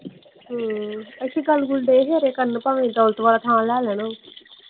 ਗੱਲ ਦੇ ਸੀ ਕਰਨ ਭਾਵੇਂ ਦੌਲਤ ਵਾਲਾ ਥਾਂ ਲੈ ਲੈਣ ਉਹ।